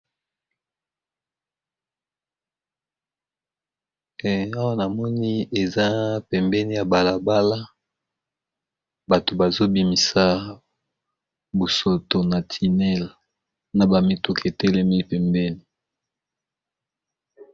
Awa namoni eza pembeni ya balabala bato bazobimisa busoto na tinel na bamituki etelemi pembeni.